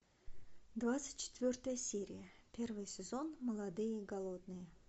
двадцать четвертая серия первый сезон молодые и голодные